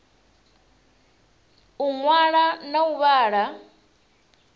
u ṅwala na u vhala